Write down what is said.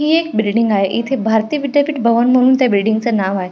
हि एक बिल्डिंग आहे येथे भारतीय विद्यापीठ भवन म्हणून त्या बिल्डिंगच नाव आहे.